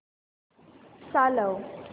चालव